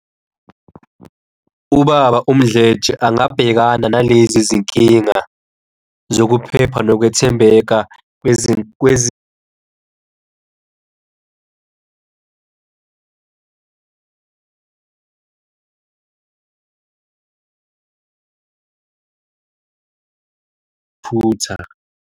Ubaba umdletshe angabhekana nalezi zinkinga zokuphepha nokwethembeka futha.